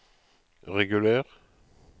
reguler